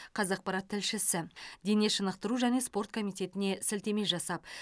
қазақпарат тілшісі дене шынықтыру және спорт комитетіне сілтеме жасап